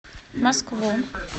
москву